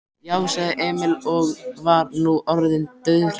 Já, sagði Emil og var nú orðinn dauðhræddur.